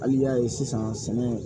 Hali y'a ye sisan sɛnɛ